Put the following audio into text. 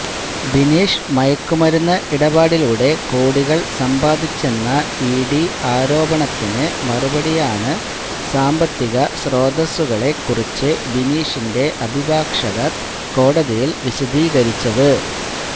ബിനീഷ് മയക്കുമരുന്ന് ഇടപാടിലൂടെ കോടികൾ സമ്പാദിച്ചെന്ന ഇഡി ആരോപണത്തിന് മറുപടിയായാണ് സാമ്പത്തിക സ്രോതസ്സുകളെ കുറിച്ച് ബിനീഷിന്റെ അഭിഭാഷകർ കോടതിയില് വിശദീകരിച്ചത്